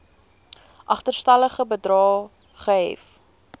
agterstallige bedrae gehef